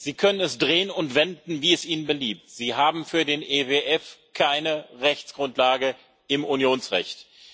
Sie können es drehen und wenden, wie es Ihnen beliebt Sie haben für den EWF keine Rechtsgrundlage im Unionsrecht.